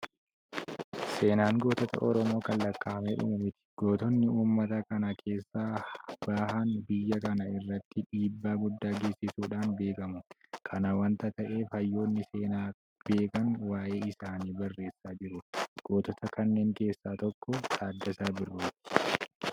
Seenaan gootota Oromoo kan lakkaa'amee dhumu miti. Gootonni uummata kana keessaa bahan biyya kana irratti dhiibbaa guddaa geessisuudhaan beekamu. Kana waanta ta'eef hayyoonni seenaa beekan waa'ee isaanii barreessaa jiru. Gootota kanneen keessaa tokko Taaddasaa Birruuti.